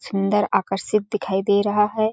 सुंदर आकर्षित दिखाई दे रहा हैं।